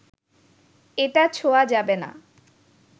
এটা ছোঁয়া যাবে না